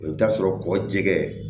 I bɛ taa sɔrɔ kɔ jɛgɛ